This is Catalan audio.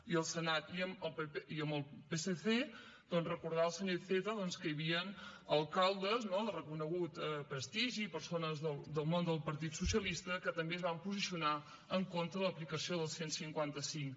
i amb el psc doncs recordar al senyor iceta que hi havien alcaldes no de reconegut prestigi persones del món del partit socialista que també es van posicionar en contra de l’aplicació del cent i cinquanta cinc